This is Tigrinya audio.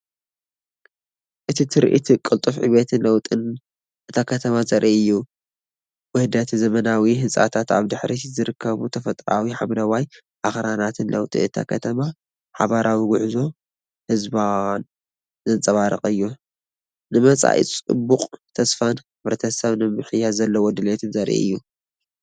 እቲ ትርኢት ቅልጡፍ ዕብየትን ለውጥን እታ ከተማ ዘርኢ እዩ። ውህደት ዘመናዊ ህንጻታትን ኣብ ድሕሪት ዝርከቡ ተፈጥሮኣዊ ሓምለዋይ ኣኽራናትን ለውጢ እታ ከተማን ሓባራዊ ጉዕዞ ህዝባን ዘንጸባርቕ እዩ። ንመጻኢ ድሙቕ ተስፋን ሕብረተሰብ ንምምሕያሽ ዘለዎ ድሌትን ዘርኢ እዩ።